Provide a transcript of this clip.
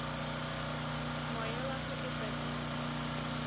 moya wa ho etsa dintho